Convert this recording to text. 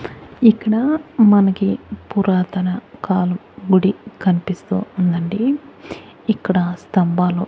ఇక్కడ మనకి పురాతన కాలం గుడి కన్పిస్తూ ఉందండి ఇక్కడ స్తంభాలు--